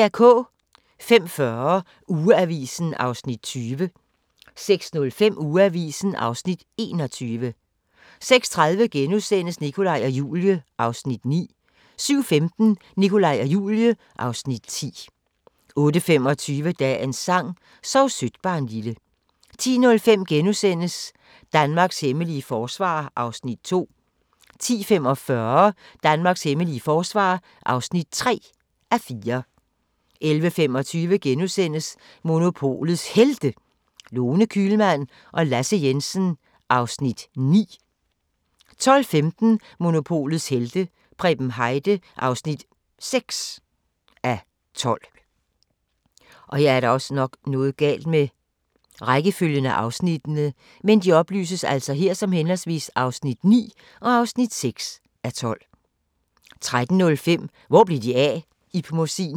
05:40: Ugeavisen (20:52) 06:05: Ugeavisen (21:52) 06:30: Nikolaj og Julie (Afs. 9)* 07:15: Nikolaj og Julie (Afs. 10) 08:25: Dagens sang: Sov sødt barnlille 10:05: Danmarks hemmelige forsvar (2:4)* 10:45: Danmarks hemmelige forsvar (3:4) 11:25: Monopolets Helte – Lone Kühlmann og Lasse Jensen (9:12)* 12:15: Monopolets helte - Preben Heide (6:12) 13:05: Hvor blev de af? - Ib Mossin